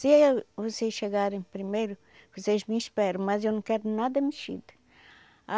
Se vocês chegarem primeiro, vocês me esperam, mas eu não quero nada mexido.